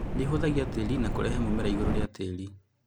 Nĩĩhũthagia tĩri na kũrehe mũmera igũrũ rĩa tĩri